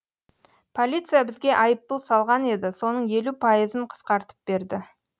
полиция бізге айыппұл салған еді соның елу пайызын қысқартып берді